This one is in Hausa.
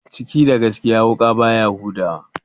Ciki da gaskiya, wuƙa baya huda wa?